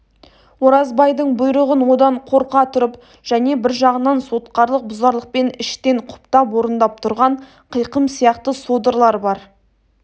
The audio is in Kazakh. оразбайдың бұйрығын одан қорқа тұрып және бір жағынан сотқарлық бұзарлықпен іштен құптап орындап тұрған қиқым сияқты содырлар бар